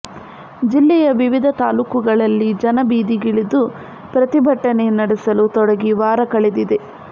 ಜಿಲ್ಲೆಯ ವಿವಿಧ ತಾಲೂಕುಗಳಲ್ಲಿ ಜನ ಬೀದಿಗಿಳಿದು ಪ್ರತಿಭಟನೆ ನಡೆಸಲು ತೊಡಗಿ ವಾರಕಳೆದಿದೆ